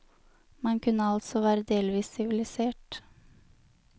Man kunne altså være delvis sivilisert.